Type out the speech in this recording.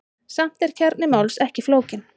Samt er kjarni máls ekki flókinn.